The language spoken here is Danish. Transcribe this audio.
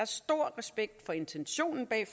stor respekt for intentionen bag